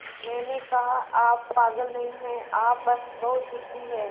मैंने कहा आप पागल नहीं हैं आप बस बहुत ज़िद्दी हैं